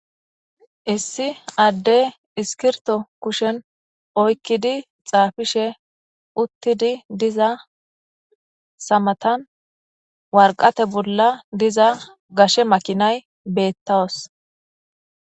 Issi addey iskirto kushen oykkidi xaafishe uttidi diza samatan warqate bolla diza gashe makinay beettawas.